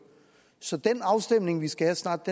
så den afstemning vi skal have snart